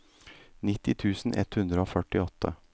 nitti tusen ett hundre og førtiåtte